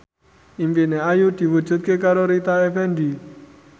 impine Ayu diwujudke karo Rita Effendy